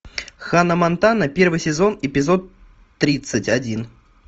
ханна монтана первый сезон эпизод тридцать один